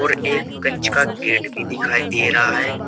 और एक कंच का गेट भी दिखाई दे रहा है।